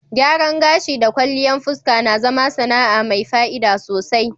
Gyaran gashi da kwalliyan fuska na zama sana'a mai fa'ida sosai.